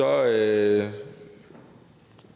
at jeg